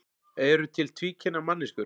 Eru til tvíkynja manneskjur?